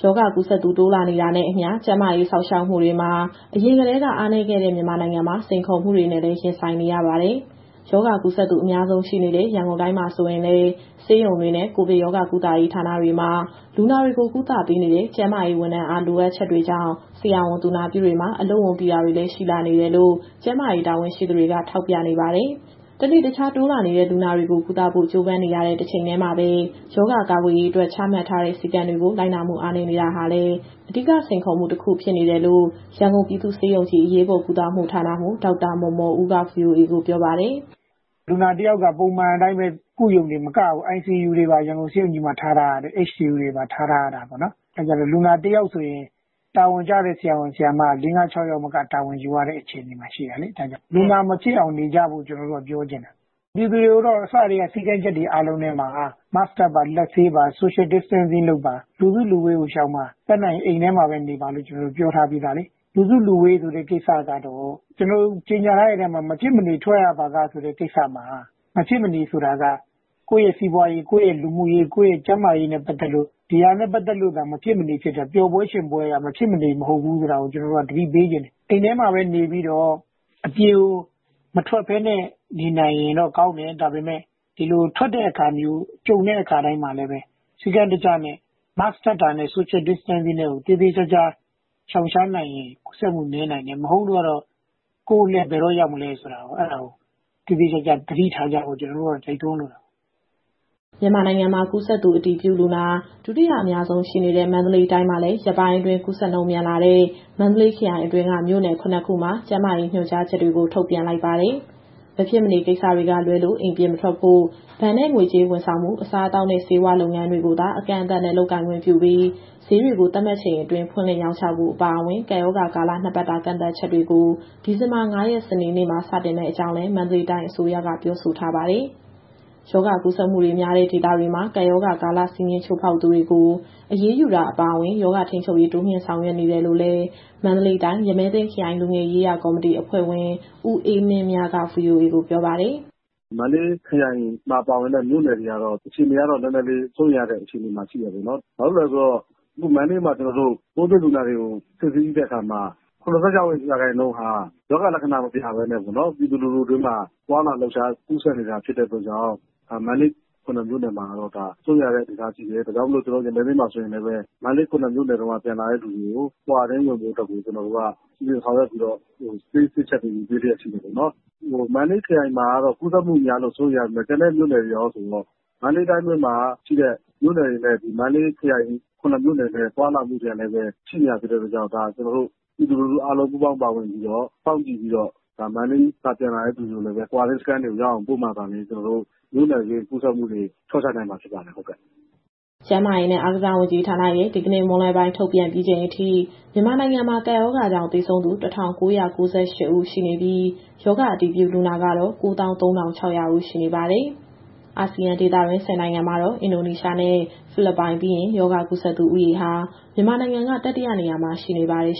ရောဂါကူးစက်သူ တိုးလာနေတာနဲ့အမျှ ကျန်းမာရေးစောင့်ရှောက်မှုတွေမှာ အရင်ကတည်းက အားနည်းတဲ့ မြန်မာနိုင်ငံမှာ စိန်ခေါ်မှုတွေနဲ့လည်း ရင်ဆိုင်နေရပါတယ်။ ရောဂါကူးစက်သူဦးရေ အများဆုံးရှိနေတဲ့ရန်ကုန်တိုင်းမှာ ဆိုရင်လည်း ဆေးရုံတွေနဲ့ ကိုဗစ်ရောဂါကုသရေးဌာနတွေမှာ လူနာတွေကို ကုသမှုပေးနေတဲ့ ကျန်းမာရေးဝန်ထမ်းအား လိုအပ်ချက်တွေကြောင့် ဆရာဝန်၊ သူနာပြုတွေမှာ အလုပ်ဝန်ပိတာတွေ ရှိလာနေတယ်လို့ ကျန်းမာရေးတာဝန်ရှိသူတွေက ထောက်ပြနေပါတယ်။ တနေ့တခြား တိုးလာနေတဲ့ လူနာတွေကို ကုသဖို့ ကြိုးပမ်းနေရတဲ့ တချိန်တည်းမှာပဲ ရောဂါကာကွယ်ရေးအတွက် ချမှတ်ထားတဲ့ စည်းကမ်းတွေကို လိုက်နာမှုအားနည်းတာဟာလည်း အဓိက စိန်ခေါ်မှုတခုဖြစ်နေတယ်လို့ ရန်ကုန်ပြည်သူ့ဆေးရုံကြီး အရေးပေါ်ကုသမှုဌာနမှူး ဒေါက်တာမော်မော်ဦးက VOA ကိုပြောပါတယ်။ "လူနာတယောက်က ပုံမှန်အတိုင်းပဲ ကုရုံတင်မကဘူး၊ ICU နဲ့ HDU တွေပါ ရန်ကုန်ဆေးရုံကြီးမှာ ထားထားရတာပေါ့နော်။ အဲဒီအခါကျတော့ လူနာတယောက်ဆိုရင် တာဝန်ကျတဲ့ဆရာ၊ ဆရာမက ၄၊ ၅၊ ၆ ယောက်မက တာဝန်ယူရတဲ့ အခြေအနေမှာရှိတာလေ။ ဒါကြောင့် လူနာမဖြစ်အောင်နေကြဖို့ ကျနော်တို့ကပြောချင်တာ။ ပြည်သူတွေကိုတော့ အစကတည်းက စည်းကမ်းချက်တွေအားလုံးထဲမှာ Mask တပ်ပါ၊ လက်ဆေးပါ၊ Social Distancing လုပ်ပါ၊ လူစုလူဝေးကိုရှောင်ပါ၊ တတ်နိုင်ရင်အိမ်ထဲမှာပဲ နေပါလို့ ကျနော်တို့ပြောထားပြီးသားလေ။ လူစုလူဝေးဆိုတဲ့ကိစ္စကတော့ မဖြစ်မနေထွက်ရပါက ဆိုတဲ့ကိစ္စမှာ မဖြစ်မနေဆိုတာက ကိုယ့်ရဲ့စီးပွားရေး၊ လူမှုရေး၊ ကျန်းမာရေးနဲ့ပတ်သက်လို့ ဒါတွေကသာ မဖြစ်မနေဖြစ်တယ်။ ပျော်ပွဲရွှင်ပွဲက မဖြစ်မနေ မဟုတ်ဘူးဆိုတာ ကျနော်တို့ကသတိပေးချင်တယ်။ အိမ်ထဲမှာပဲနေပြီးတော့ အပြင်ကိုမထွက်ဘဲနဲ့ နေနိုင်ရင်တော့ကောင်းတယ်။ ဒါပေမဲ့ ထွက်ဖို့ကြုံလာတဲ့အခါတိုင်းမှာလည်း စည်းကမ်းတကျနဲ့ Mask တပ်တာ၊ Social Distancing ကို သေသေချာချာလုပ်မယ်ဆိုရင် ကူးစက်မှုနည်းနိုင်မယ်။ မဟုတ်လို့ကတော့ ကိုယ့်အလှည့်ဘယ်တော့ရောက်မလဲဆိုတာ အဲဒါကို သေသေချာချာသတိထားကြဖို့ ကျနော်တို့က တိုက်တွန်းလိုတာ။" မြန်မာနိုင်ငံမှာ ကူးစက်သူအတည်ပြုလူနာ ဒုတိယအများဆုံးရှိနေတဲ့ မန္တလေးတိုင်းမှာလည်း ရက်ပိုင်းအတွင်း ကူးစက်နှုန်းမြန်လာတဲ့ မန္တလေးခရိုင်အတွင်းက မြို့နယ် ၇ ခုမှာ ကျန်းမာရေးညွှန်ကြားချက်တွေကို ထုတ်ပြန်လိုက်ပါတယ်။ မဖြစ်မနေကိစ္စတွေကလွဲလို့ အိမ်ပြင်မထွက်ဖို့၊ ဘဏ်နဲ့ငွေကြေးဝန်ဆောင်မှု၊ အစားအသောက်နဲ့ ဆေးဝါးလုပ်ငန်းတွေကိုသာ အကန့်အသတ်နဲ့ လုပ်ကိုင်ခွင့်ပြုပြီး၊ ဈေးတွေကို သတ်မှတ်ချိန်အတွင်း ဖွင့်လှစ်ရောင်းချဖို့ အပါအဝင် ကပ်ရောဂါကာလ ၂ ပတ်တာ ကန့်သတ်ချက်တွေကို ဒီဇင်ဘာ ၅ ရက် စနေနေ့မှာ စတင်မယ့်အကြောင်းလည်း မန္တလေးတိုင်းအစိုးရက ပြောဆိုထားပါတယ်။ ရောဂါကူးစက်မှုတွေများတဲ့ ဒေသတွေမှာ ကပ်ရောဂါကာလ စည်းကမ်းချိုးဖောက်သူတွေကို အရေးယူတာ အပါအဝင် ရောဂါထိန်းချုပ်ရေး တိုးမြှင့်ဆောင်ရွက်နေတယ်လို့လည်း မန္တလေးတိုင်း၊ ရမည်းသင်းခရိုင် လူငယ်ရေးရာကော်မတီအဖွဲ့ဝင် ဦးအေးမင်းမြက VOA ကိုပြောပါတယ်။ "မန္တလေးခရိုင်မှာ ပါဝင်တဲ့ မြို့နယ်တွေကတော့ စိုးရိမ်ရတဲ့အခြေအနေမှာ ရှိနေတာပေါ့နော်။ ဘာဖြစ်လို့လဲဆိုတော့ အခုမန္တလေးမှာ ပိုးတွေ့လူနာတွေကို စစ်ဆေးကြည့်လိုက်တဲ့အခါမှာ ၇၆ ရာခိုင်နှုန်းက ရောဂါလက္ခဏာမပြဘဲ ပြည်သူလူထုအတွင်းမှာ သွားလာလှုပ်ရှားကူးစက်နေတာဖြစ်တဲ့အတွက်ကြောင့် မန္တလေးခရိုင်အတွင်းက ၇ မြို့နယ်မှာ စိုးရိမ်ရတဲ့အနေအထားရှိတယ်။ ဒါကြောင့်မို့ ကျနော်တို့ရမည်းသင်းမှာဆိုရင်လည်းပဲ မန္တလေးခရိုင်အတွင်းက ပြန်လာတဲ့သူတွေကို Quarantine ဝင်ဖို့ စီစဉ်ဆောင်ရွက်ပြီးတော့ ဆေးစစ်ချက်တွေယူတဲ့ အခြေအနေပေါ့နော်။ မန္တလေးခရိုင်မှာကတော့ ကူးစက်မှုများလို့ စိုးရိမ်ရတယ်ဆိုပေမဲ့ ကျန်တဲ့မြို့နယ်တွေရောဆိုရင်တော့ တိုင်းအတွင်းကမြို့နယ်တွေနဲ့ ခရိုင် ၇ မြို့နယ်နဲ့က သွားလာမှုတွေကလည်း ရှိနေတဲ့အတွက်ကြောင့် ပြည်သူလူထုအားလုံး ပူးပေါင်းပါဝင် စောင့်ကြည့်ပြီးတော့ မန္တလေး ပြန်လာတဲ့သူတွေကို Quarantine စခန်းတွေရောက်အောင်ပို့မှသာလျှင် မြို့နယ်တွင်းကူးစက်မှုတွေ လျှော့ချနိုင်မှာဖြစ်ပါတယ်။" ကျန်းမာရေးနဲ့အားကစားဝန်ကြီးဌာနရဲ့ ဒီကနေ့မွန်းလွဲပိုင်း ထုတ်ပြန်ပြီးချိန်အထိ မြန်မာနိုင်ငံမှာ ကပ်ရောဂါကြောင့်သေဆုံးသူ ၁,၉၉၈ ဦးရှိနေပြီး၊ ရောဂါအတည်ပြုလူနာကတော့ ၉၃,၆၀၀ ဦးရှိနေပါတယ်။ အာဆီယံဒေသတွင်း ၁၀ နိုင်ငံမှာတော့ အင်ဒိုနီးရှားနဲ့ ဖိလစ်ပိုင်ပြီးရင် ရောဂါကူးစက်သူဦးရေဟာ မြန်မာနိုင်ငံက တတိယနေရာမှာရှိနေပါတယ်